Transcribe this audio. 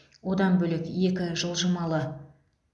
одан бөлек екі жылжымалы